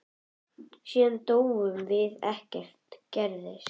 Síðan dóum við og ekkert gerðist.